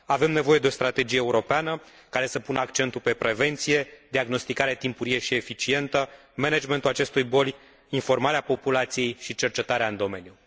Avem nevoie de o strategie europeană care să pună accentul pe prevenție, diagnosticare timpurie și eficientă, managementul acestei boli, informarea populației și cercetarea în domeniu.